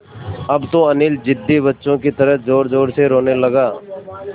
अब तो अनिल ज़िद्दी बच्चों की तरह ज़ोरज़ोर से रोने लगा